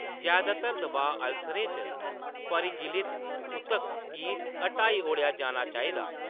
जैदातर दबाऽ अल्सरें च परिगलित ऊतक गी हटाई ओड़ेआ जाना चाहिदा।